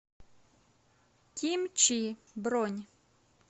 кимчи бронь